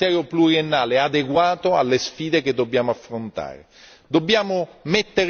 C'è bisogno di un quadro finanziario pluriennale adeguato alle sfide che dobbiamo affrontare.